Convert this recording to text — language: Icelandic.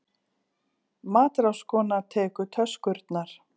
Matráðskona tekur töskurnar.